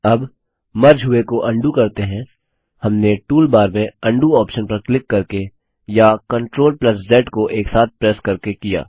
अब मर्ज हुए को अंडू करते हैं हमने टूलबार में उंडो ऑप्शन पर क्लिक करके या CTRLZ को एक साथ प्रेस करके किया